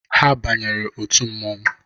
Ha bara otu mmanwụ